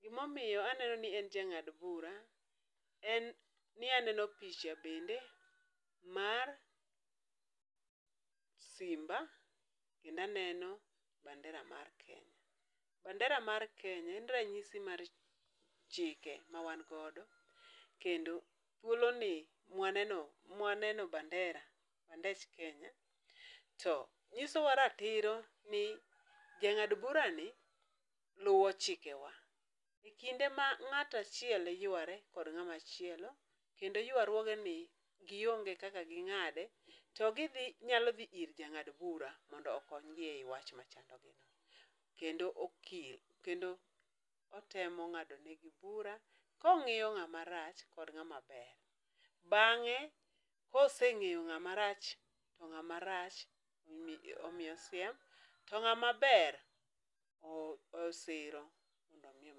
gima omiyo aneno ni en jang'ad bura en ni aneno picha bende mar simba kendo aneno bandera mar Kenya en ranyisi mar chike ma wan godo kendo thuoloni mwaneno mwaneno bandera, bandech Kenya to nyisowa ratiro ni jang'ad burani luwo chikewa ekinde ma ng'ato achiel yuare kod ng'ama chielo kendo yuaruoge ni gionge kaka ging'ede, ginyalo dhi ir jang'ad bura moko kanyo mondo okony gi ei wach machalo kamano. Kendo okil otemo ng'adonegi bura kong'iyo ng'ama rach kod ng'e koseng'eyo ng'amarach omiyo siem to ng'ama ber osiro mi.